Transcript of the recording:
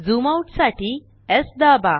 zoom out साठी स् दाबा